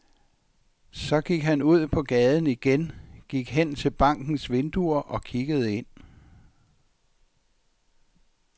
Så gik han ud på gaden igen, gik hen til bankens vinduer og kiggede ind.